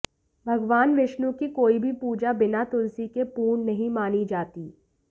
भगवान विष्णु की कोई भी पूजा बिना तुलसी के पूर्ण नहीं मानी जाती